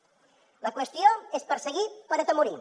la qüestió és perseguir per atemorir